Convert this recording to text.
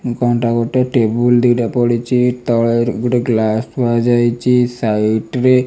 କନ ଟା ଗୋଟେ ଟେବୁଲ୍ ଦି'ଟା ପଡ଼ିଛି ତଳେ ର ଗୋଟେ ଗ୍ଲାସ ଥୁଆ ଯାଇଛି ସାଇଡ ରେ --